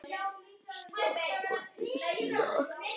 Flugan skellur niður.